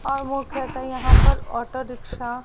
और मुख्यतः यहां पर ऑटो रिक्शा --